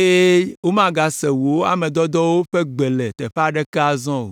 eye womagase wò ame dɔdɔwo ƒe gbe le teƒe aɖeke azɔ o.”